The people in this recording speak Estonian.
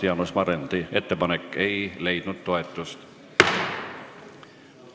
Jaanus Marrandi ettepanek ei leidnud toetust.